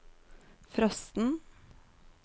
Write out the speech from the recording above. frosten